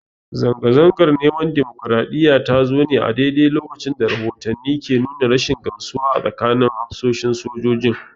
Zanga-zangar neman dimokraɗiyya ta zo ne a daidai lokacin da rahotanni ke nuna rashin gamsuwa a tsakanin hafsoshin sojojin.